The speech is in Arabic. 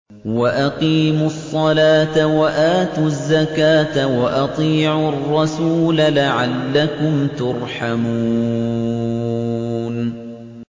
وَأَقِيمُوا الصَّلَاةَ وَآتُوا الزَّكَاةَ وَأَطِيعُوا الرَّسُولَ لَعَلَّكُمْ تُرْحَمُونَ